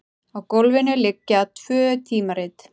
Á gólfinu liggja tvö tímarit.